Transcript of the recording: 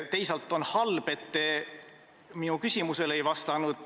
Teisalt on halb, et te minu küsimusele ei vastanud.